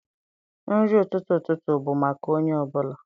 Nri ụtụtụ ụtụtụ bụ maka onye ọ bụla.